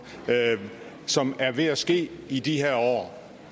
som er ved at ske i de her år